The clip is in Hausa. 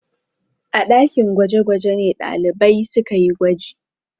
A ɗakin gwaje-gwaje ne ɗalibai suka yi gwaji.